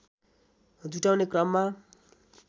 जुटाउने क्रममा